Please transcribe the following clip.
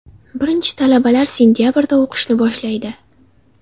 Birinchi talabalar sentabrda o‘qishni boshlaydi.